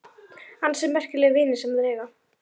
Ansi merkilegir vinir sem þeir eiga.